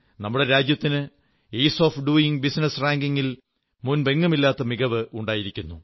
നമ്മുടെ രാജ്യത്തിന് ease of doing business റാങ്കിംഗിൽ മുമ്പെങ്ങുമില്ലാത്ത മികവ് ഉണ്ടായിരിക്കുന്നു